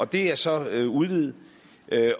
det er så udvidet